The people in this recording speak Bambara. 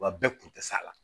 Wa bɛɛ kun tɛ s'a la